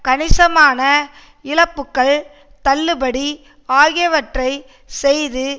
கணிசமான இழப்புக்கள் தள்ளுபடி ஆகியவற்றை செய்து